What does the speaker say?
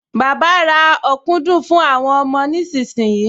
Bàbá ra ọ̀dùnkún fún àwọn ọmọ nísinsìnyí